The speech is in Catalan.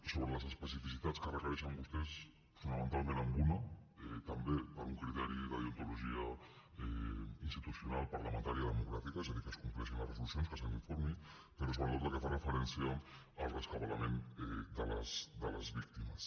sobre les especificitats que requereixen vostès fonamentalment en una també per un criteri de deontologia institucional parlamentària democràtica és a dir que es compleixin les resolucions que se n’informi però sobretot la que fa referència al rescabalament de les víctimes